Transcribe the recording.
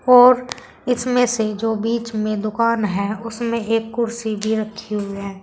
और इसमें से जो बीच में दुकान है उसमें एक कुर्सी भी रखे हुए हैं।